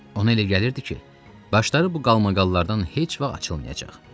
Ona elə gəlirdi ki, başları bu qalmaqallardan heç vaxt açılmayacaq.